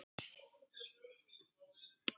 Er þetta frændi þinn?